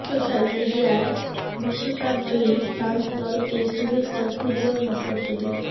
social মিডিয়ায় বিশ্বকাপ জয়ী ফ্রান্স দলকে শুভেচ্ছা ফুটবল নক্ষত্রদের